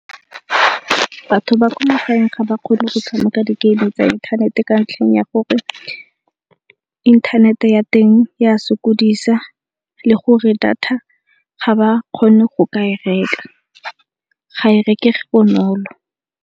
Batho ba kwa magaeng ga ba kgone go tshameka di-game tsa inthanete ka ntlheng ya gore inthanete ya teng ya sokodisa le gore data ga ba kgone go ka e reka, ga e rekege bonolo.